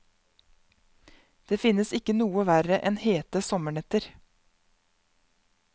Det finnes ikke noe verre enn hete sommernetter.